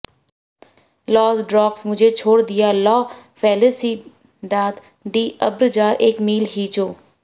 loss ड्रोग्स मुझे छोड़ दिया ला फेलिसिडाद डी अब्रज़ार एक मील हिजो